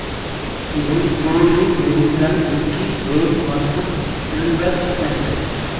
இதில் Julie Madison Vicki Vale மற்றும் Silver send